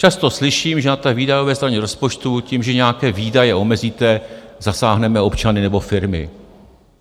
Často slyším, že na té výdajové straně rozpočtu tím, že nějaké výdaje omezíme, zasáhneme občany nebo firmy.